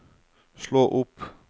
slå opp